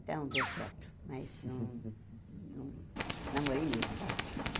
Então, deu certo, mas não... namorei mesmo bastante.